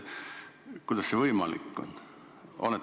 Kuidas see võimalik on?